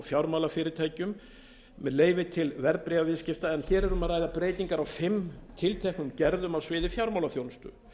fjármálafyrirtækjum með leyfi til verðbréfaviðskipta en hér er um að ræða breytingar á fimm tilteknum gerðum á sviði fjármálaþjónustu